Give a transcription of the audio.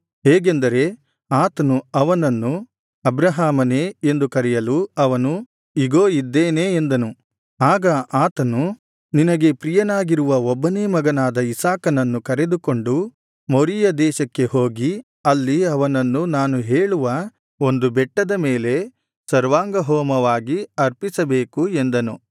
ಹೇಗೆಂದರೆ ಆತನು ಅವನನ್ನು ಅಬ್ರಹಾಮನೇ ಎಂದು ಕರೆಯಲು ಅವನು ಇಗೋ ಇದ್ದೇನೆ ಎಂದನು ಆಗ ಆತನು ನಿನಗೆ ಪ್ರಿಯನಾಗಿರುವ ಒಬ್ಬನೇ ಮಗನಾದ ಇಸಾಕನನ್ನು ಕರೆದುಕೊಂಡು ಮೊರೀಯ ದೇಶಕ್ಕೆ ಹೋಗಿ ಅಲ್ಲಿ ಅವನನ್ನು ನಾನು ಹೇಳುವ ಒಂದು ಬೆಟ್ಟದ ಮೇಲೆ ಸರ್ವಾಂಗಹೋಮವಾಗಿ ಅರ್ಪಿಸಬೇಕು ಎಂದನು